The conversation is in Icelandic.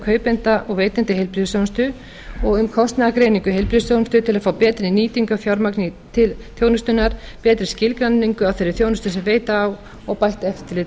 kaupenda og veitenda í heilbrigðisþjónustu og um kostnaðargreiningu í heilbrigðisþjónustu til að fá betri nýtingu á fjármagni til þjónustunnar betri skilgreiningu á þeirri þjónustu sem veita á og bætt eftirlit